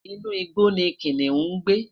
inu igbó ni kiniun ń gbé